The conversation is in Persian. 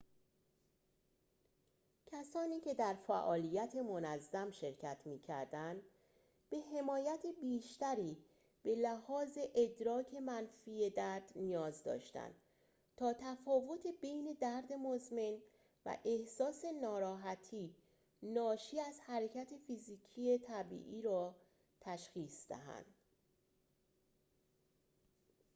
کسانی که در فعالیت منظم شرکت می‌کردند به حمایت بیشتری به لحاظ ادراک منفی درد نیاز داشتند تا تفاوت بین درد مزمن و احساس ناراحتی ناشی از حرکت فیزیکی طبیعی را تشخیص دهند